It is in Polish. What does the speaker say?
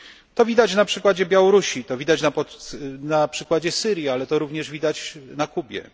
To widać na przykładzie Białorusi, to widać na przykładzie Syrii, ale to również widać na Kubie.